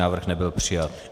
Návrh nebyl přijat.